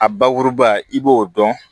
A bakuruba i b'o dɔn